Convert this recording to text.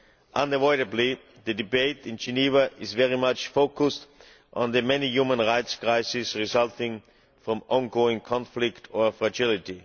Unavoidably, the debate in Geneva is very much focused on the many human rights crises resulting from ongoing conflict or fragility.